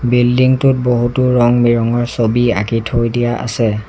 Building টোত বহুতো ৰং-বিৰংৰ ছবি আঁকি থৈ দিয়া আছে।